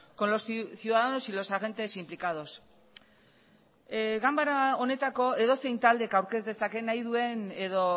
con los ciudadanos y los agentes implicados ganbara honetako edozein taldek aurkez dezaken nahi duen edo